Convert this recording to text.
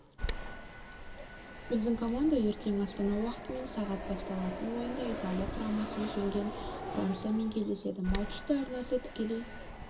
біздің команда ертең астана уақытымен сағат басталатын ойында италия құрамасын жеңген франциямен кездеседі матчты арнасы тікелей